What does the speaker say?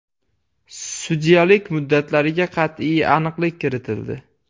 Sudyalik muddatlariga qat’iy aniqlik kiritildi.